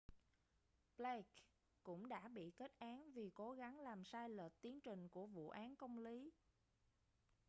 blake cũng đã bị kết án vì cố gắng làm sai lệch tiến trình của vụ án công lý